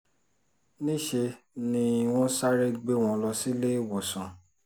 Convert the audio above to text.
níṣẹ́ ni wọ́n sáré gbé wọn lọ síléèwòsàn